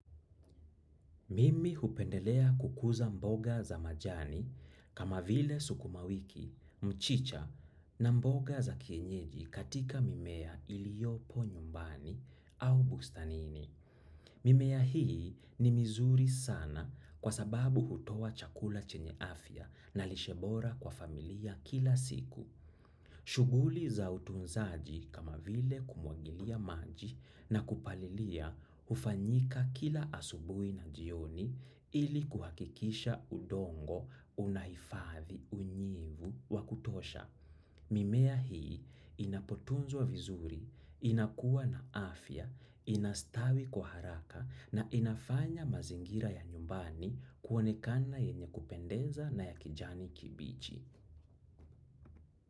Mimi hupendelea kukuza mboga za majani kama vile sukuma wiki, mchicha na mboga za kienyeji katika mimea iliyopo nyumbani au bustanini. Mimea hii ni mizuri sana kwa sababu hutoa chakula chenye afya na lishe bora kwa familia kila siku. Shughuli za utunzaji kama vile kumwagilia maji na kupalilia hufanyika kila asubuhi na jioni ili kuhakikisha udongo, unahifadhi, unyevu wa kutosha. Mimea hii inapotunzwa vizuri, inakuwa na afya, ina stawi kwa haraka na inafanya mazingira ya nyumbani kuonekana yenye kupendeza na ya kijani kibichi.